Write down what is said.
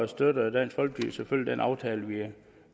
støtter dansk folkeparti selvfølgelig den aftale vi er